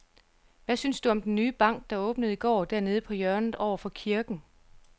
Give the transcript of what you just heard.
Hvad synes du om den nye bank, der åbnede i går dernede på hjørnet over for kirken?